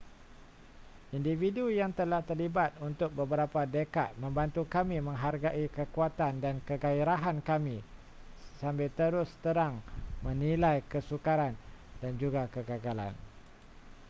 individu yang telah terlibat untuk beberapa dekad membantu kami menghargai kekuatan dan keghairahan kami sambil terus terang menilai kesukaran dan juga kegagalan